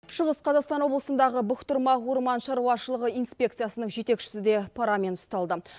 шығыс қазақстан облысындағы бұқтырма орман шаруашылығы инспекциясының жетекшісі де парамен ұсталды